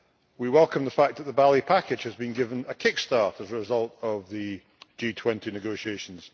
We welcome the fact that the Bali package has been given a kick start as a result of the G20 negotiations.